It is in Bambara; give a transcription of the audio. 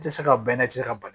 I tɛ se ka bɛɛ lajɛ ka ban